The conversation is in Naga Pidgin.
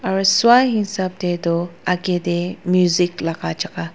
ru swahesap tey tu agey tey music laga jagah.